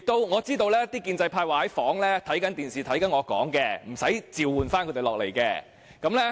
我知道建制派在房內在電視上觀看我發言，無須召喚他們下來。